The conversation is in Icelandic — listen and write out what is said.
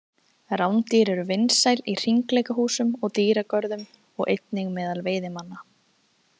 rándýr eru vinsæl í hringleikahúsum og dýragörðum og einnig meðal veiðimanna